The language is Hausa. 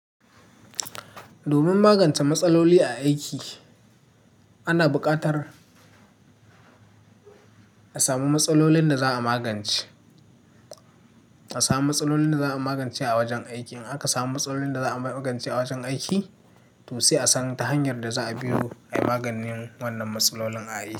Domin magance matsaloli a aiki ana buƙatar a samu matsalolin da za a magance. A samu matsalolin da za a magance a wajen aiki. In aka samu matsalolin da za a magance a wajen aiki, to sai a san ta hanyar da za a biro ai maganin wannan matsalolin a aiki.